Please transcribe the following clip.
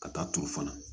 Ka taa turu fana